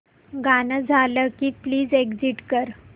गाणं झालं की प्लीज एग्झिट कर